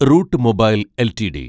root Mobile LTD